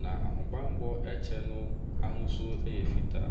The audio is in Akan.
Na ahobanmmɔ kyɛ no ahosu yɛ fitaa.